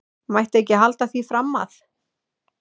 Mætti ekki halda því fram að.